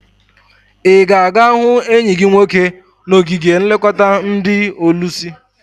I ga aga hu enyi gi nwoke n'ogige nlekota ndi olusi?